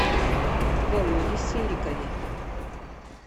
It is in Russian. володе серикове